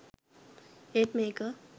ඒත් මේක